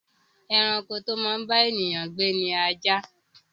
Ẹranko to máa ń bá èèyàn gbé ni ajá